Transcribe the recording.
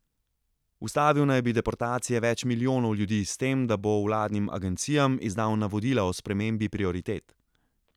Ustavil naj bi deportacije več milijonov ljudi s tem, da bo vladnim agencijam izdal navodila o spremembi prioritet.